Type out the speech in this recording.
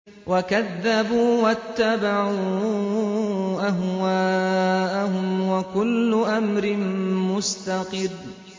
وَكَذَّبُوا وَاتَّبَعُوا أَهْوَاءَهُمْ ۚ وَكُلُّ أَمْرٍ مُّسْتَقِرٌّ